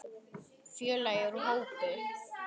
Félagi úr hópi